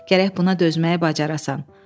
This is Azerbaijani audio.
Gərək buna dözməyi bacarasan.